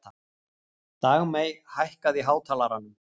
Dagmey, hækkaðu í hátalaranum.